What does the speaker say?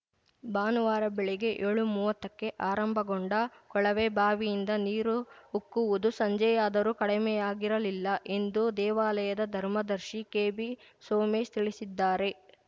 ಭಾನುವಾರ ಬೆಳಗ್ಗೆ ಯೋಳುಮೂವತ್ತಕ್ಕೆ ಆರಂಭಗೊಂಡ ಕೊಳವೆ ಬಾವಿಯಿಂದ ನೀರು ಉಕ್ಕುವುದು ಸಂಜೆಯಾದರೂ ಕಡಿಮೆಯಾಗಿರಲಿಲ್ಲ ಎಂದು ದೇವಾಲಯದ ಧರ್ಮದರ್ಶಿ ಕೆಬಿಸೋಮೇಶ್‌ ತಿಳಿಸಿದ್ದಾರೆ